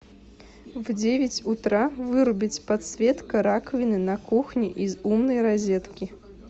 в девять утра вырубить подсветка раковины на кухне из умной розетки